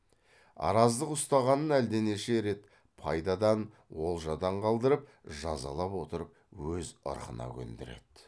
араздық ұстағанын әлденеше рет пайдадан олжадан қалдырып жазалап отырып өз ырқына көндіреді